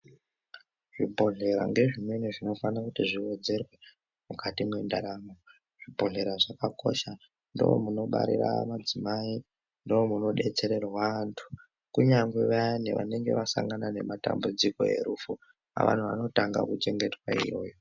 Zvibhedhlera ngezvimweni zvinofanira kuti zviwedzerwe mukati mwendaramo. Zvibhedhlera zvakakosha ndomunobarira madzimai. Ndokudetsererwa antu kunyange vayani vanenge vasangana nematambudziko erufu antu anotanga kuchengetwa iyoyo.